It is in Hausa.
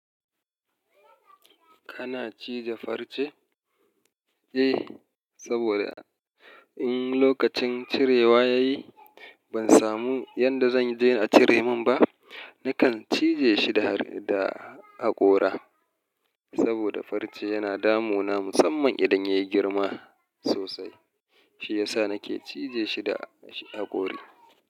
Kana cije farce? Eh, saboda in lokacin cirewa ya yi ban samu yanda zan je a cire min ba, nakan cije shi da, da haƙora. Saboda farce yana damu na musamman idan yayi girma sosai. Shi yasa nake cije shi da haƙori.